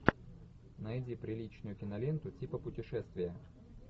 найди приличную киноленту типа путешествия